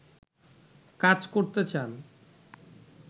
কাজ করতে চান